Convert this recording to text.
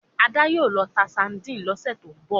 Ada yíò ló tá sardine ló sẹ to'n bọ